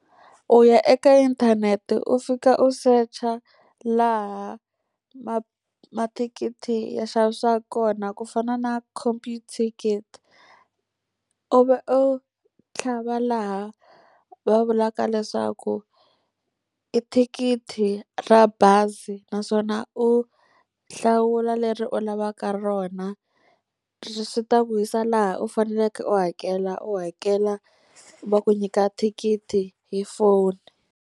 U ya eka inthanete u fika u search-a laha mathikithi ya xavisiwaka kona ku fana na Computicket. Ivi u tlhava laha va vulaka leswaku i thikithi ra bazi, naswona u hlawula leri u lavaka rona. Swi ta ku yisa laha u faneleke u hakela, u hakela va ku nyika thikithi hi foni.